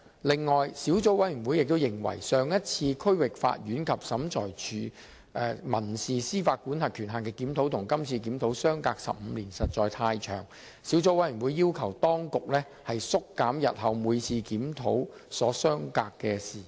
此外，小組委員會亦認為，上一次區域法院及審裁處民事司法管轄權限的檢討與今次的檢討相隔15年，實在太長，小組委員會要求當局縮減日後每次檢討所相隔的時間。